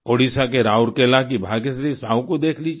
ओडिशा के राउरकेला की भाग्यश्री साहू को देख लीजिए